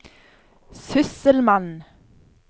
sysselmann